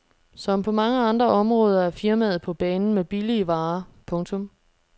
Som på mange andre områder er firmaet på banen med billige varer. punktum